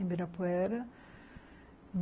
Ibirapuera.